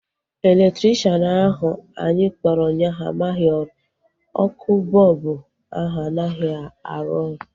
Elektrikshan ahu anyị kpọrọ ụnyaahụ amaghị ọrụ. Ọkụ bọlbụ ahu anaghị arụ oru